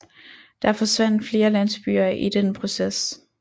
Der forsvandt flere landsbyer i den proces